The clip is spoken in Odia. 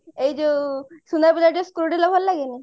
ଏଇ ଯୋଉ ସୁନା ପିଲା ଟିକେ screw ଢିଲା ଭଲ ଲାଗେନି